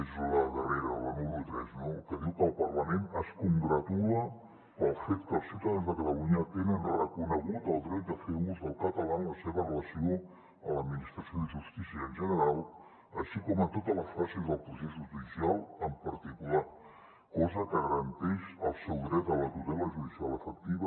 és la darrera la número tres que diu que el parlament es congratula pel fet que els ciutadans de catalunya tenen reconegut el dret a fer ús del català en la seva relació amb l’administració de justícia en general així com en totes les fases del procés judicial en particular cosa que garanteix el seu dret a la tutela judicial efectiva